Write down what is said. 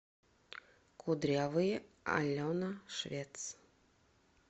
кудрявые алена швец